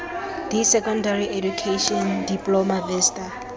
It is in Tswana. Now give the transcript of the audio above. d secondary education diploma vista